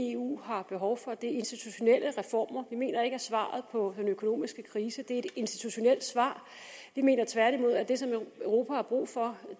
eu har behov for er institutionelle reformer vi mener ikke at svaret på den økonomiske krise er et institutionelt svar vi mener tværtimod at det europa har brug for